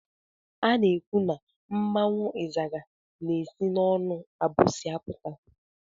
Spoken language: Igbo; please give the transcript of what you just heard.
Ana ekwụ na mmanwụ izaga na-esi n'onu abusi apụta.